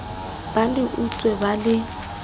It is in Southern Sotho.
ba le utswe ba le